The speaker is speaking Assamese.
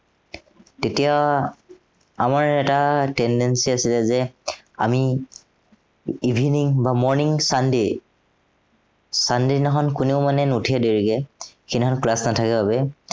তেতিয়া, আমাৰ এটা tendency আছিলে যে আমি, evening বা morning sunday sunday দিনাখন কোনেও মানে নুঠে দেৰিকে, সেইদিনাখন class নথকাৰ বাবে।